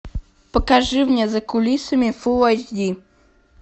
покажи мне за кулисами фул айч ди